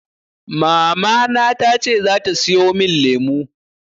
Mamana tace zata siyo min lemu.